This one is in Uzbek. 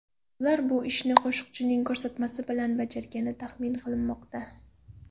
Ular bu ishni qo‘shiqchining ko‘rsatmasi bilan bajargani taxmin qilinmoqda.